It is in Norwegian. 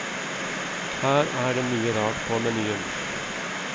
Her er det mye rart på menyen.